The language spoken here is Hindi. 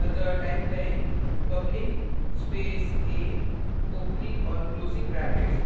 अतः type करेंpublic a opening और closing brackets